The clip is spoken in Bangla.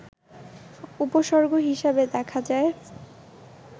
উপসর্গ হিসেবে দেখা যায়